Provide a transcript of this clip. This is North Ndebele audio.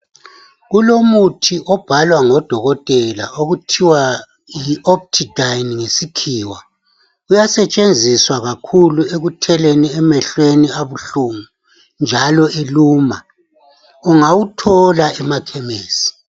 Kulomuthi obhalwa ngo dokotela Okuthiwayi optidine ngesikhiwa uyasetshenziswa ekutheleni emehlweni abuhlungu kakhulu ekutheleni njalo eluma ungawuthola emakhemisi